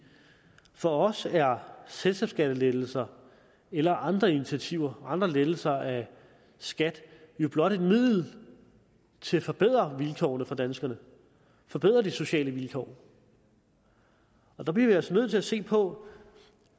for os er selskabsskattelettelser eller andre initiativer andre lettelser af skat jo blot et middel til at forbedre vilkårene for danskerne forbedre de sociale vilkår og der bliver vi altså nødt til at se på